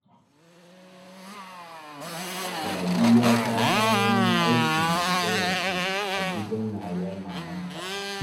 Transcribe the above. Sadiya ta samo min aikin wanke-wanke a gidan yayar mamanta